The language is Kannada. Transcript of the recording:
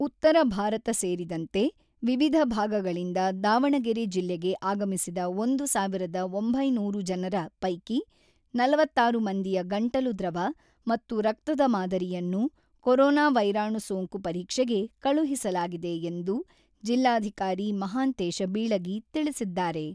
ಉತ್ತರ ಭಾರತ ಸೇರಿದಂತೆ ವಿವಿಧ ಭಾಗಗಳಿಂದ ದಾವಣಗೆರೆ ಜಿಲ್ಲೆಗೆ ಆಗಮಿಸಿದ ಒಂದು ಸಾವಿರದ ಒಂಬೈನೂರು ಜನರ ಪೈಕಿ ನಲವತ್ತಾರು ಮಂದಿಯ ಗಂಟಲು ದ್ರವ ಮತ್ತು ರಕ್ತದ ಮಾದರಿಯನ್ನು ಕೊರೊನಾ ವೈರಾಣು ಸೋಂಕು ಪರೀಕ್ಷೆಗೆ ಕಳುಹಿಸಲಾಗಿದೆ ಎಂದು ಜಿಲ್ಲಾಧಿಕಾರಿ ಮಹಾಂತೇಶ ಬೀಳಗಿ ತಿಳಿಸಿದ್ದಾರೆ.